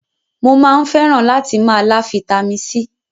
Mo máa ń fẹ́ràn látì máa lá Fitami C.